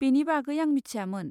बेनि बागै आं मिथियामोन।